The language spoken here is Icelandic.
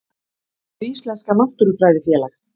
hið íslenska náttúrufræðifélag